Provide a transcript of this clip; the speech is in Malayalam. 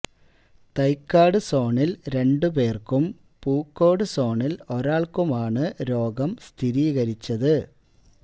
തൈക്കാട് സോണില് രണ്ട് പേര്ക്കും പൂക്കോട് സോണില് ഒരാള്ക്കുമാണ് രോഗം സ്ഥിരീകരിച്ചത്